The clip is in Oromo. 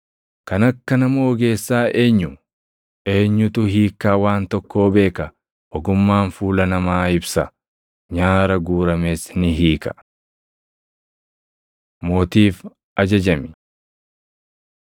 Kan akka nama ogeessaa eenyu? Eenyutu hiikkaa waan tokkoo beeka? Ogummaan fuula namaa ibsa; nyaara guurames ni hiika. Mootiif Ajajami